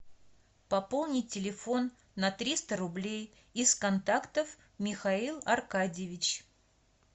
пополнить телефон на триста рублей из контактов михаил аркадьевич